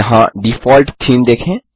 यहाँ default theme देखें